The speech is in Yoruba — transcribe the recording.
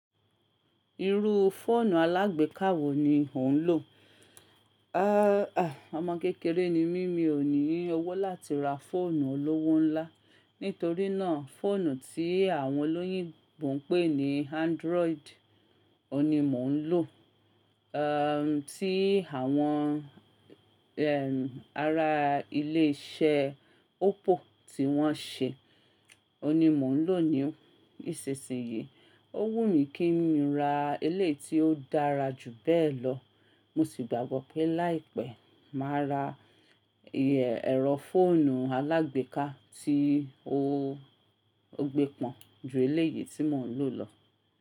Irú fóònù alágbèká wo ni ò ń lò? Ah, ọmọ kékeré ni mí, mi ò ní owó láti ra fóònù olówó ńlá. Nítorínà, fóònù tí àwọn olóyìnbo ń pè ní Android ni mò ń lò. Eh, tí àwọn eh, ará ilé iṣẹ́ Oppo tí wọ́n ṣe, òní mò ń lò ó ni. Nisisin yii, ó wù mí kí n ra eleyi tí ó dára jù bẹ́ẹ̀ lọ, mo sì gbàgbọ́ pé láìpẹ́ máa ra ẹ̀rọ fóònù alágbèká tí ó gbé pọn ju eleyii tí mò ń lò lọ.